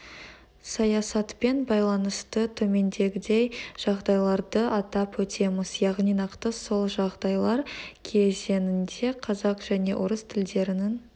саясатпен байланысты төмендегідей жағдайларды атап өтеміз яғни нақты сол жағдайлар кезеңінде қазақ және орыс тілдерінің